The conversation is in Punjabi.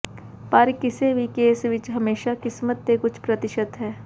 ਪਰ ਕਿਸੇ ਵੀ ਕੇਸ ਵਿੱਚ ਹਮੇਸ਼ਾ ਕਿਸਮਤ ਦੇ ਕੁਝ ਪ੍ਰਤੀਸ਼ਤ ਹੈ